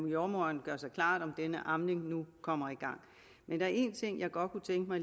jordemoderen gør sig klart om amningen nu kommer i gang men der er en ting jeg godt kunne tænke mig